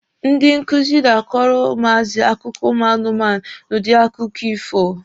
Ndị nkuzi na-akọrọ ụmụazị akụkọ ụmụ anụmanụ n'udi akụkọ ifo.